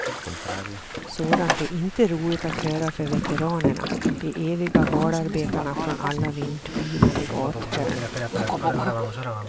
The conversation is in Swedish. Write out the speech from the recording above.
Sådant är inte roligt att höra för veteranerna, de eviga valarbetarna från alla vindpinade gathörn.